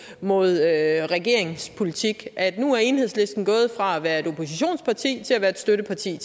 mod regeringens politik at nu er enhedslisten gået fra at være et oppositionsparti til at være et støtteparti